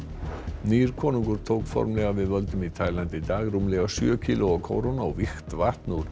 nýr konungur tók formlega við völdum í Tælandi í dag rúmlega sjö kílóa kóróna og vígt vatn úr